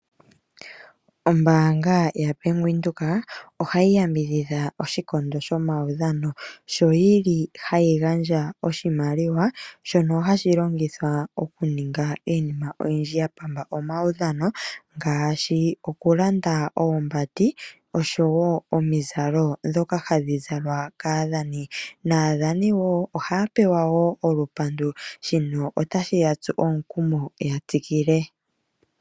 Ombaanga ya Venduka ohayi yambidhidha oshikondo sho mawudhano sho yili hayi gandja oshimaliwa shono hashi longithwa okuninga iinima oyindji ya pamba omawudhano otashi ngaashi okugandja oombandi yatsu omukumo ya tsikile.